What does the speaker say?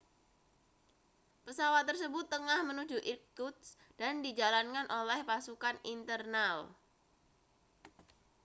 pesawat tersebut tengah menuju irkutsk dan dijalankan oleh pasukan internal